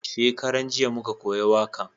Shakaran jiya muka koya wakan